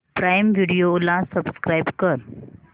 prime Video ला subscribe कर